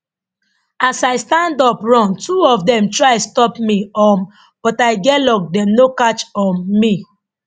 as i stand up run two of dem try stop me um but i get luck dem no catch um me